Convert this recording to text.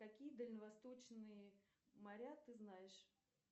какие дальневосточные моря ты знаешь